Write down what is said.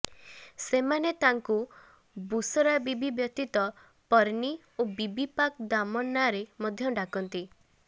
ସେମାନେ ତାଙ୍କୁ ବୁଶରା ବିବି ବ୍ୟତୀତ ପିରନୀ ଓ ବିବି ପାକ୍ ଦାମନ ନାଁରେ ମଧ୍ୟ ଡାକନ୍ତି